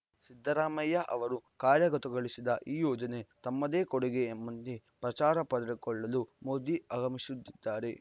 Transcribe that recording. ಸಿದ್ದರಾಮಯ್ಯ ಅವರು ಕಾರ್ಯಗತಗೊಳಿಸಿದ ಈ ಯೋಜನೆ ತಮ್ಮದೇ ಕೊಡುಗೆ ಎಂಬಂತೆ ಪ್ರಚಾರ ಪಡೆದುಕೊಳ್ಳಲು ಮೋದಿ ಆಗಮಿಸುತ್ತಿದ್ದಾರೆ